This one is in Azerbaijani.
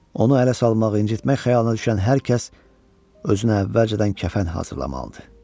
Onu ələ salmaq, incitmək xəyalına düşən hər kəs özünə əvvəlcədən kəfən hazırlamalıdır.